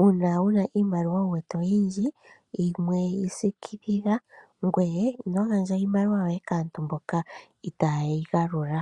Uuna wu na iimaliwa wu wete oyindji yimwe yi siikilila ngoye ino gandja iimaliwa yoye kaantu mboka ita ye yi galula .